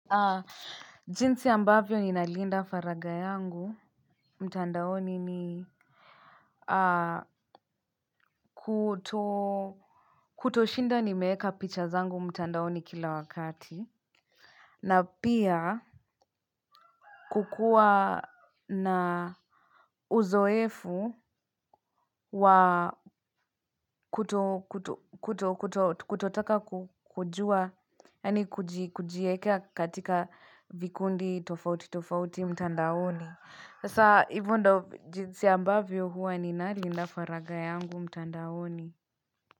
Jinsi ambavyo ninalinda faragha yangu mtandaoni ni kutoshinda nimeweka picha zangu mtandaoni kila wakati. Na pia kukuwa na uzoefu wa kutotaka kujua, yaani kujiwekea katika vikundi tofauti tofauti mtandaoni. Sasa hivo ndo jinsi ambavyo huwa ni nalinda faragha yangu mtandaoni.